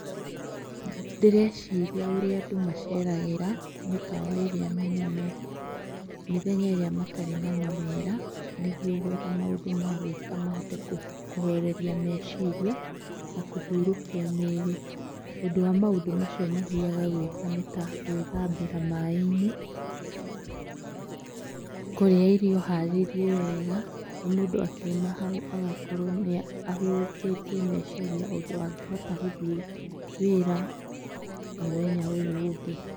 Ndĩreciria ũrĩa andũ maceragĩra mĩkawa ĩrĩa mĩnene, mĩthenya ĩrĩa matarĩ na mawĩra, nĩguo gwetha maũndũ ma gwĩka mahote kũhoreria meciria na kũhũrũkia mĩĩrĩ. Ũndũ wa maũndũ macio mathiaga gũĩka nĩ ta, gwĩtambĩra maaĩ-inĩ, kũrĩa irio haririe wega, na mũndũ akiuma hau agakorwo nĩ ahurũkĩtie meciria ũndũ angĩhota gũthiĩ wĩra mũthenya ũyũ ũngĩ.